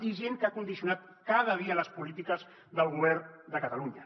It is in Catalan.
i gent que ha condicionat cada dia les polítiques del govern de catalunya